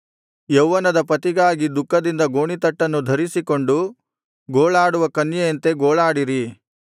ಯೌವನದ ಪತಿಗಾಗಿ ದುಃಖದಿಂದ ಗೋಣಿತಟ್ಟನ್ನು ಧರಿಸಿಕೊಂಡು ಗೋಳಾಡುವ ಕನ್ಯೆಯಂತೆ ಗೋಳಾಡಿರಿ